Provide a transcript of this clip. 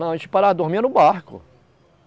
Não, a gente parava, dormia no barco.